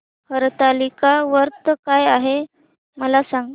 हरतालिका व्रत काय आहे मला सांग